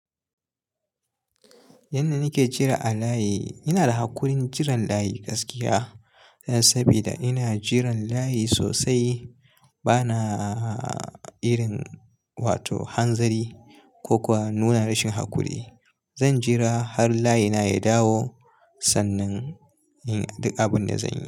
Yanda nake jira a layi, ina da haƙurin jiran layi gaskiya. Dan sabida ina jiran layi sosai banaa irin wato hanzari ko kuwa nuna rashin haƙuri. Zan jira har layina ya dawo sannan in yi duk abinda zan yi.